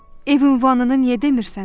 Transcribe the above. Ev ünvanını niyə demirsən?